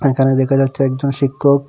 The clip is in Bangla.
এখানে দেখা যাচ্ছে একজন শিক্ষক।